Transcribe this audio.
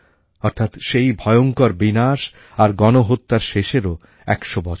অর্থাৎ সেই ভয়ংকর বিনাশ আর গণহত্যার শেষেরও একশো বছর হবে